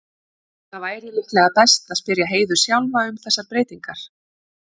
Það væri líklega best að spyrja Heiðu sjálfa um þessar breytingar.